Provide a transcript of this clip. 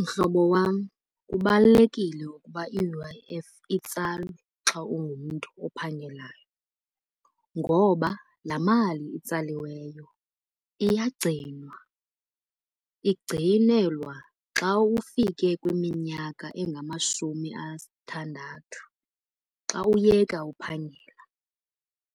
Mhlobo wam, kubalulekile ukuba i-U_I_F itsalwe xa ungumntu ophangelayo. Ngoba laa mali itsaliweyo iyagcinwa igcinelwa xa ufike kwiminyaka engamashumi asithandathu xa uyeka uphangela.